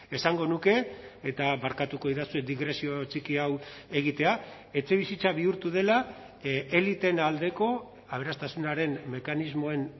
esango nuke eta barkatuko didazue digresio txiki hau egitea etxebizitza bihurtu dela eliteen aldeko aberastasunaren mekanismoen